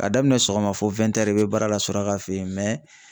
Ka daminɛ sɔgɔma fo i bɛ baara la suraka fɛ yen